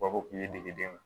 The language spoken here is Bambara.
degeden